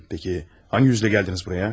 Yaxşı, hansı üzlə gəldiniz buraya?